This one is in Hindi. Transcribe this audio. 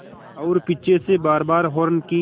और पीछे से बारबार हार्न की